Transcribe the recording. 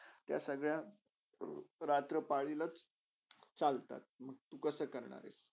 त्यासगळ्या रात्रा पालीलच चालतात, मंग तू कसा करणार?